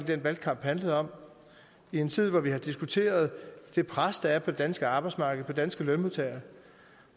den valgkamp handlede om i en tid hvor vi har diskuteret det pres der er på det danske arbejdsmarked og på danske lønmodtagere